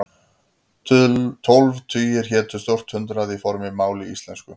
Tólf tugir hétu stórt hundrað í fornu máli íslensku.